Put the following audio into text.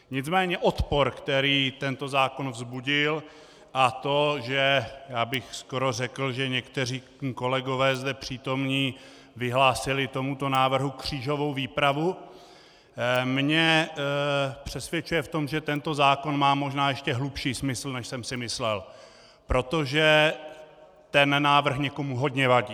Nicméně odpor, který tento zákon vzbudil, a to, že - já bych skoro řekl, že někteří kolegové zde přítomní vyhlásili tomuto návrhu křížovou výpravu, mě přesvědčuje v tom, že tento zákon má možná ještě hlubší smysl, než jsem si myslel, protože ten návrh někomu hodně vadí.